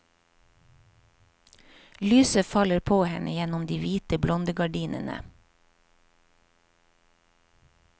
Lyset faller på henne gjennom de hvite blondegardinene.